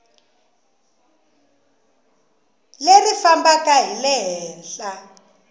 leri fambaka hi le henhla